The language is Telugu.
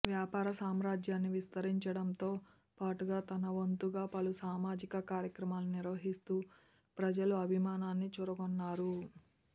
వ్యాపార సామ్రాజ్యాన్ని విస్తరించడంతో పాటుగా తన వంతుగా పలు సామాజిక కార్యక్రమాలు నిర్వహిస్తూ ప్రజల అభిమానాన్ని చూరగొన్నారు